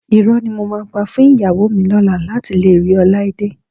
Irọ́ ni mo máa pa fún ìyàwó mi lọ́la láti lè rí Ọláídé